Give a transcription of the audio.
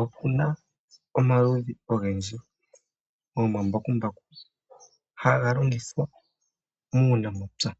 Opuna omaludhi ogendji gomambakumbaku, haga longithwa muunamapya.